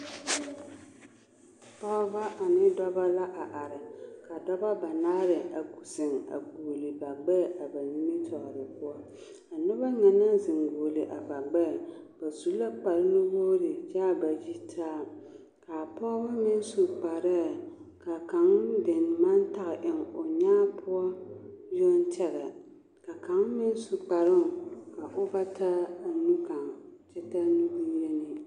Pɔgebɔ ane dɔbɔ la a are ka dɔbɔ banaare a zeŋ a goɔle ba gbɛɛ a na nimitɔɔre poɔ, a noba na nɛɛ naŋ zeŋ goɔle a ba gbɛɛ ba su la kpare nu-wogiri kyɛ k'a ba yitaa, k'a pɔge meŋ su kparɛɛ ka kaŋ dene maŋ tage eŋ o nyaa poɔ yoŋ tɛgɛ ka kaŋ meŋ su kparoŋ ka o ba taa nu kaŋa kyɛ taa nu bonyenee.